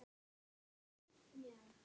En ég man öll nöfn.